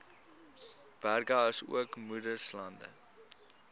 berge asook moeraslande